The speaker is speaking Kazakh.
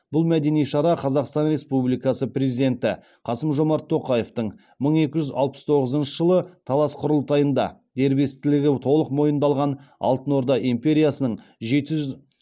бұл мәдени шара қазақстан республикасы президенті қасым жомарт тоқаевтың мың екі жүз алпыс тоғызыншы жылы талас құрылтайында дербестігі толық мойындалған алтын орда империясының жеті жүз